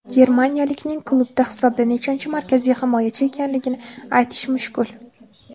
Germaniyalikning klubda hisobda nechanchi markaziy himoyachi ekanligini aytish mushkul.